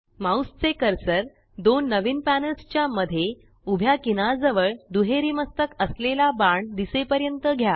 mouse चे cursor दोन नवीन पॅनल्स च्या मध्ये उभ्या किनार जवळ दुहेरी मस्तक असलेला बाण दिसेपर्यंत घ्या